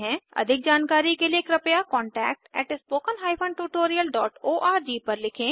अधिक जानकारी के लिए कृपया contact at spoken hyphen tutorial dot O R G पर लिखें